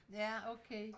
Ja okay